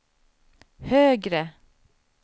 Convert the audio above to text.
högre